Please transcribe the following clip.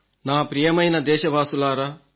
నా ప్రియమైన దేశవాసులారా